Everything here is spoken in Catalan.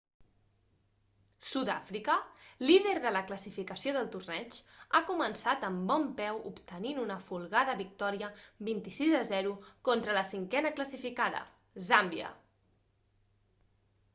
sudàfrica líder de la classificació del torneig ha començat amb bon peu obtenint una folgada victòria 26 - 00 contra la cinquena classificada zàmbia